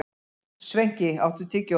Sveinki, áttu tyggjó?